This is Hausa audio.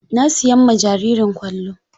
Na siyan ma jaririn kwallo.